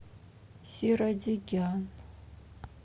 сирадегян